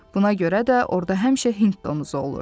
Buna görə də orda həmişə Hind domuzu olur.